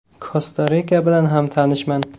Kosta-Rika bilan ham tanishman.